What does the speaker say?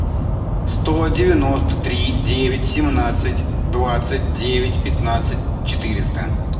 сто девяносто три девять семнадцать двадцать девять пятнадцать четыреста